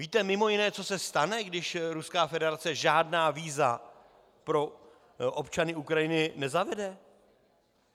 Víte mimo jiné, co se stane, když Ruská federace žádná víza pro občany Ukrajiny nezavede?